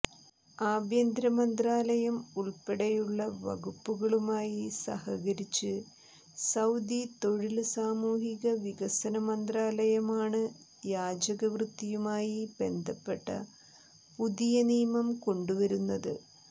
ആഭ്യന്തര മന്ത്രാലയം ഉള്പ്പെടെയുള്ള വകുപ്പുകളുമായി സഹകരിച്ച് സൌദി തൊഴില് സാമൂഹിക വികസന മന്ത്രാലയമാണ് യാചകവൃത്തിയുമായി ബന്ധപ്പെട്ട പുതിയ നിയമം കൊണ്ടുവരുന്നത്